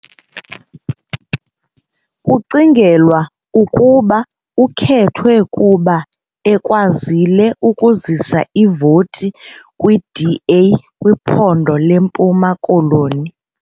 Kucingelwa ukuba ukhethwe kuba ekwazile ukuzisa iivoti kwiDA kwiphondo leMpuma Koloni .